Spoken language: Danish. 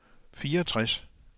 fireogtres